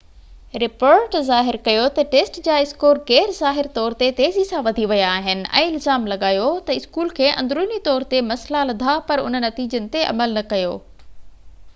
report ظاهر ڪيو تہ ٽيسٽ جا اسڪور غير ظاهر طور تي تيزي سان وڌي ويا آهن ۽ الزام لڳايو تہ اسڪول کي اندروني طور تي مسئلا لڌا پر ان نتيجن تي عمل نہ ڪيو